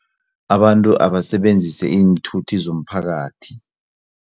Abantu abasebenzise iinthuthi zomphakathi.